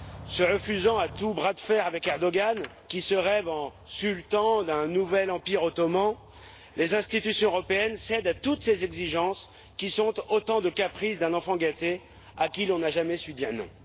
Se refusant à tout bras de fer avec Erdoğan, qui se rêve en sultan d'un nouvel empire ottoman, les institutions européennes cèdent à toutes ses exigences, qui sont autant de caprices d'un enfant gâté à qui l'on n'a jamais su dire non.